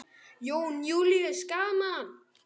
Jón Júlíus: Gaman?